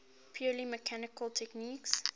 purely mechanical techniques